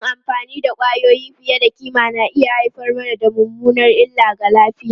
Yin amfani da kwayoyi fiye da kima na iya haifar da mummunar illa ga lafiya.